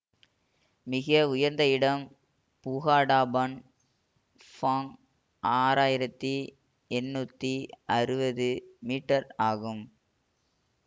மிக உயர்ந்த இடம் புகாடாபன் ஃபெங் ஆறாயிரத்தி எந்நூற்றி அறுபது மீட்டர் ஆகும்